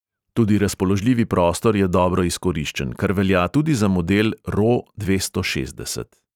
Tudi razpoložljivi prostor je dobro izkoriščen, kar velja tudi za model ro dvesto šestdeset.